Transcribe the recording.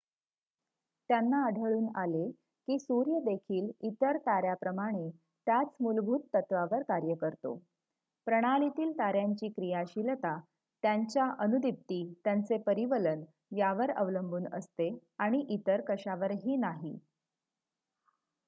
त्यांना आढळून आले की सूर्य देखील इतर तार्‍याप्रमाणे त्याच मुलभूत तत्त्वावर कार्य करतो प्रणालीतील ताऱ्यांची क्रियाशीलता त्यांच्या अनुदिप्ती त्यांचे परिवलन यावर अवलंबून असते आणि इतर कशावरही नाही